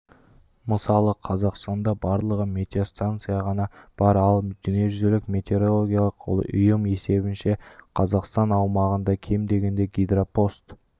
мысалы қазақстанда барлығы метеостанса ғана бар ал дүниежүзілік метеорологиялық ұйым есебінше қазақстан аумағында кем дегенде гидропост